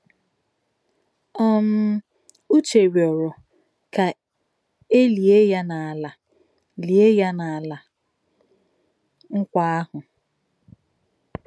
um Ùchè rìòrò kà è lìè yà n’Álà lìè yà n’Álà Nkwà àhụ̀.